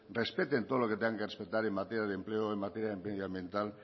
respeten todo lo que tengan que respetar en materia de empleo en materia medioambiental